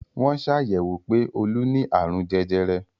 Wọ́n sàyẹ̀wò pé Olú ni àrùn jẹjẹrẹ.